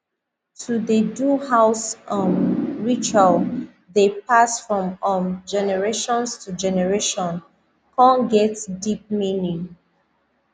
to dey do house um ritual dey pass from um generations to generation con get deep meaning